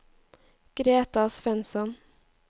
Greta Svensson